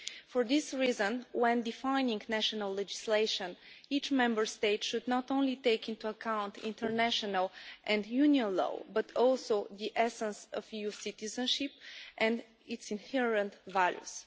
For this reason, when defining national legislation, each Member State should not only take into account international and Union law but also the essence of EU citizenship and its inherent value.